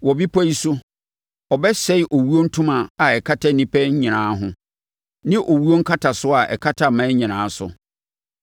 Wɔ bepɔ yi so, ɔbɛsɛe owuo ntoma a ɛkata nnipa nyinaa ho ne owuo nkatasoɔ a ɛkata aman nyinaa so;